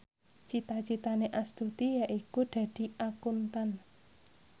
cita citane Astuti yaiku dadi Akuntan